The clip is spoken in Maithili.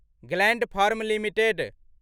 gland firm limited